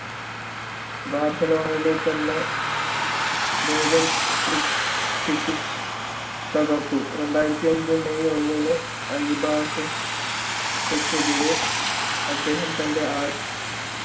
ബാർസലോണയിൽ തന്നെ ബ്രോജൻ ക്രിച് ക്രിക്കിച്ച് തകർത്തു രണ്ടായിരത്തി അഞ്ചിൽ മെയ് ഒന്ന്നിന് ആൾബസ്റ്റ ക്കെതിരെ അദ്ദേഹം തൻ്റെ ആദ്യ